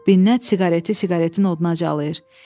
Binnət siqareti siqaretinə odnacalayır.